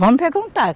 Vamos perguntar.